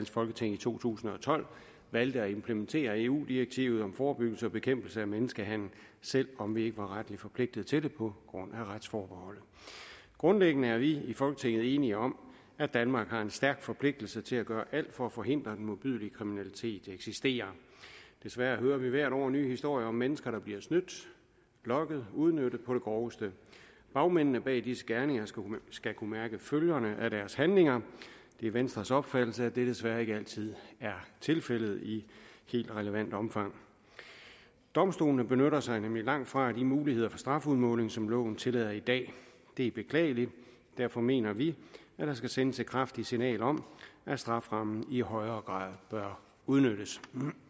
folketing i to tusind og tolv valgte at implementere eu direktivet om forebyggelse og bekæmpelse af menneskehandel selv om vi ikke var retligt forpligtet til det på grund af retsforbeholdet grundlæggende er vi i folketinget enige om at danmark har en stærk forpligtelse til at gøre alt for at forhindre den modbydelige kriminalitet der eksisterer desværre hører vi hvert år nye historier om mennesker der bliver snydt lokket udnyttet på det groveste bagmændene bag disse gerninger skal kunne mærke følgerne af deres handlinger det er venstres opfattelse at det desværre ikke altid er tilfældet i helt relevant omfang domstolene benytter sig nemlig langtfra af de muligheder for strafudmåling som loven tillader i dag det er beklageligt og derfor mener vi at der skal sendes et kraftigt signal om at strafferammen i højere grad bør udnyttes